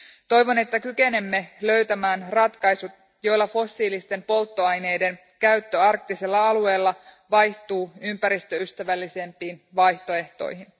Toivon, että kykenemme löytämään ratkaisut, joilla fossiilisten polttoaineiden käyttö arktisilla alueilla vaihtuu ympäristöystävällisempiin vaihtoehtoihin.